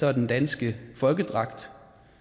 er den danske folkedragt